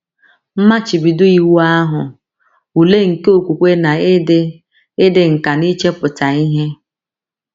Mmachibido Iwu Ahụ — Ule nke Okwukwe na Ịdị Ịdị Nkà n’Ichepụta Ihe